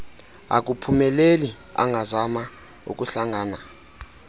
akuphumeleli angazama ukuhlangana